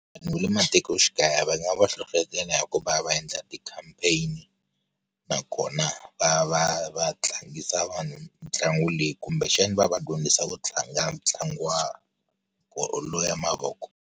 Vanhu va le matikoxikaya va nga va hlohletela ya ku va va endla ti-campaign-i, nakona va va va tlangisa vanhu mitlangu leyi kumbexana va va dyondzisa ku tlanga ntlangu wa bolo ya mavoko.